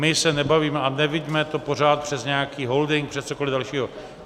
My se nebavíme - a neviďme to pořád přes nějaký holding, přes cokoliv dalšího.